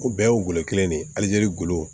O bɛɛ y'o golo kelen de ye halizeri golo